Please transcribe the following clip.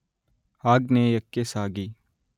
ಆಗ್ನೇಯಕ್ಕೆ ಸಾಗಿ